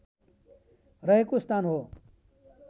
रहेको स्थान हो